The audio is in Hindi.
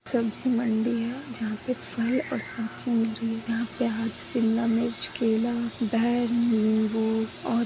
सब्जी मंडी है जहाँ पे और यहाँ पे शिमला मिर्चकेलाबाइ नींबू और--